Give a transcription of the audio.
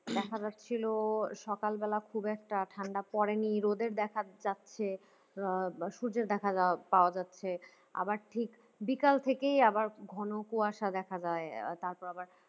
দেখা যাচ্ছিল সকালবেলা খুব একটা ঠান্ডা পরে নেই রোদের দেখা যাচ্ছে আহ সূর্যের দেখা যাওয়া পাওয়া যাচ্ছে আবার ঠিক বিকাল থেকেই আবার ঘন কুয়াশা দেখা যায় তারপর আবার